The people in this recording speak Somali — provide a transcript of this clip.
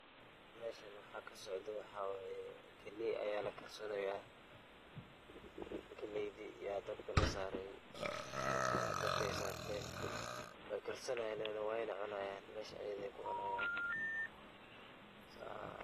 Meshan waxa kasocdo waxa waye galeey aya lakarsani haya, galeydi aya dabki lasaree, markay dalba sarten way karsanayan way na cunayan, mesha ayay kucunayan.